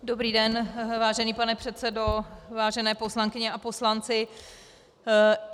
Dobrý den, vážený pane předsedo, vážené poslankyně a poslanci.